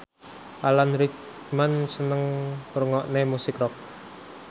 Alan Rickman seneng ngrungokne musik rock